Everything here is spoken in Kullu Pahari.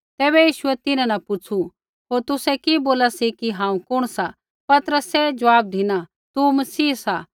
तैबै यीशुऐ तिन्हां न पुछ़ू होर तुसै कि बोला सी कि हांऊँ कुण सा पतरसै ज़वाब धिना तू मसीह सा